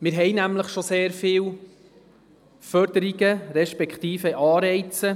Wir haben nämlich bereits sehr viele Förderungen respektive Anreize.